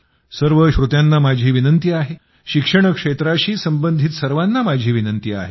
सर्व श्रोत्यांना माझी विनंती आहे शिक्षण क्षेत्राशी संबंधित सर्वांना माझी विनंती आहे